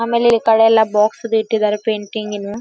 ಆಮೇಲೆ ಈ ಕಡೆಯೆಲ್ಲಾ ಬಾಕ್ಸ್ ಬಿಟ್ಟಿದ್ದರೆ ಪ್ರಿಂಟಿಂಗ್ ದು .